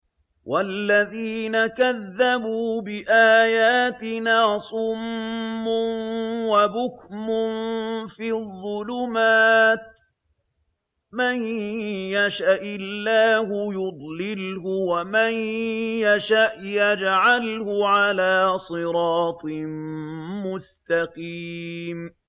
وَالَّذِينَ كَذَّبُوا بِآيَاتِنَا صُمٌّ وَبُكْمٌ فِي الظُّلُمَاتِ ۗ مَن يَشَإِ اللَّهُ يُضْلِلْهُ وَمَن يَشَأْ يَجْعَلْهُ عَلَىٰ صِرَاطٍ مُّسْتَقِيمٍ